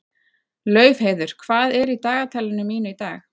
Laufheiður, hvað er í dagatalinu mínu í dag?